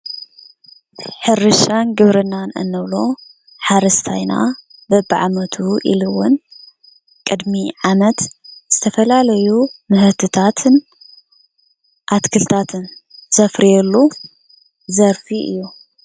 ሕርሻን ግብርናን እንብሎ ሓረስታይና በቢዓመቱ ኢሉ እውን ቅድሚ ዓመት ዝተፈላለዩ ምህርትታትን ኣትክልትታትን ዘፍርየሉ ዘርፊ እዩ።